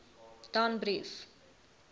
danbrief